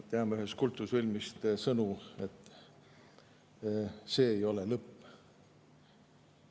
Teame ühest kultusfilmist sõnu "See ei ole lõpp.